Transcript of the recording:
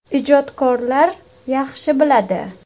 Ijodkorlar yaxshi biladi.